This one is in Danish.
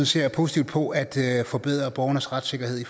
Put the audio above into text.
ser positivt på at forbedre borgernes retssikkerhed